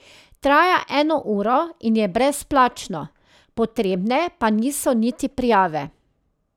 Traja eno uro in je brezplačno, potrebne pa niso niti prijave.